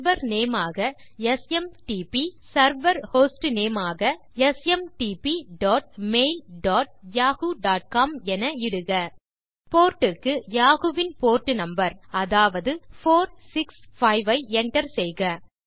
server name ஆக SMTP server hostname ஆக smtpmailyahooகாம் என இடுக போர்ட் க்கு யாஹூ வின் போர்ட் நம்பர் அதாவது 465 ஐ enter செய்க